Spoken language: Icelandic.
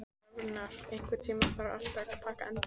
Rafnar, einhvern tímann þarf allt að taka enda.